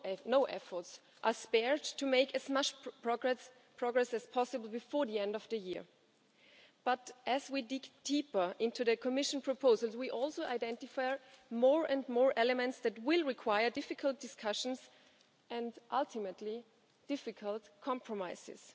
No efforts are spared to make as much progress as possible before the end of the year. But as we dig deeper into the Commission proposals we also identify more and more elements that will require difficult discussions and, ultimately, difficult compromises.